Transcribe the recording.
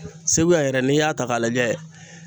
Segu yɛrɛ ,n'i y'a ta ka lajɛ